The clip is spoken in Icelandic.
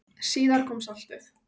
Síðar kom saltið.